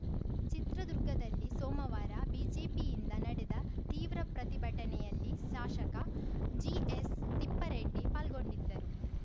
ಚಿತ್ರದುರ್ಗದಲ್ಲಿ ಸೋಮವಾರ ಬಿಜೆಪಿಯಿಂದ ನಡೆದ ತೀವ್ರ ಪ್ರತಿಭಟನೆಯಲ್ಲಿ ಶಾಸಕ ಜಿಎಚ್‌ತಿಪ್ಪಾರೆಡ್ಡಿ ಪಾಲ್ಗೊಂಡಿದ್ದರು